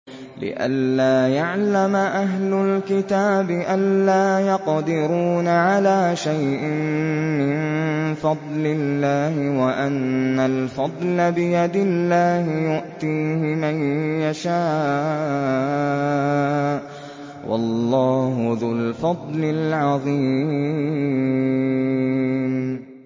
لِّئَلَّا يَعْلَمَ أَهْلُ الْكِتَابِ أَلَّا يَقْدِرُونَ عَلَىٰ شَيْءٍ مِّن فَضْلِ اللَّهِ ۙ وَأَنَّ الْفَضْلَ بِيَدِ اللَّهِ يُؤْتِيهِ مَن يَشَاءُ ۚ وَاللَّهُ ذُو الْفَضْلِ الْعَظِيمِ